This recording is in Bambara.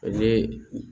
Ani